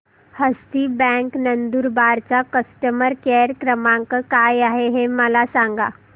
हस्ती bank Nandurbar चा customer care क्रमांक काय आहे हे मला सांगा